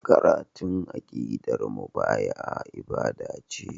Karatun aqidar mubaya'a ibada ce.